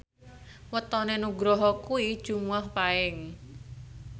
wetone Nugroho kuwi Jumuwah Paing